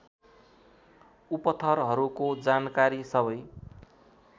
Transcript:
उपथरहरूको जानकारी सबै